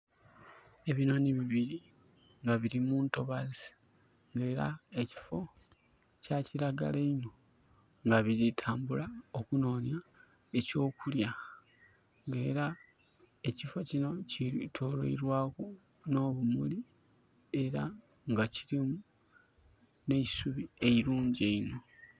Ebinooni bibiri nga biri muntobazi era nga ekifo kya kiragala inho nga biri tambula okunonia ekyo kulya nga era ekifo kino kyetoloirwaku no bumuli era nga kirimu neisubi eirungi eihno